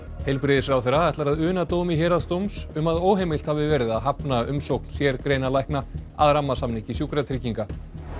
heilbrigðisráðherra ætlar að una dómi Héraðsdóms um að óheimilt hafi verið að hafna umsókn sérgreinalækna að rammasamningi Sjúkratrygginga